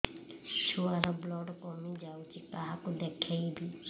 ଛୁଆ ର ବ୍ଲଡ଼ କମି ଯାଉଛି କାହାକୁ ଦେଖେଇବି